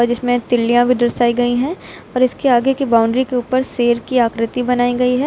इसमें तिलिया भी दर्शाई गई हैं और इसके आगे की बाउंड्री के ऊपर शेर की आकृति बनाई गई है।